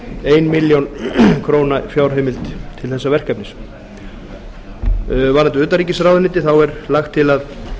ein milljón króna fjárheimild til þessa verkefnis varðandi utanríkisráðuneytið er lagt til að